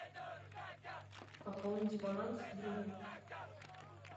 пополнить баланс другу